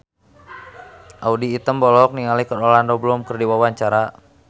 Audy Item olohok ningali Orlando Bloom keur diwawancara